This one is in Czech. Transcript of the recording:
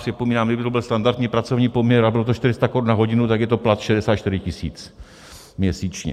Připomínám, kdyby to byl standardní pracovní poměr a bylo to 400 Kč na hodinu, tak je to plat 64 000 měsíčně.